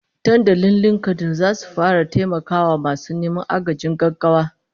Dandalin LinkedIn zasu fara taimakon masu neman agajin gaggawa